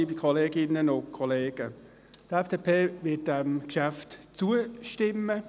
Die FDP wird diesem Geschäft zustimmen.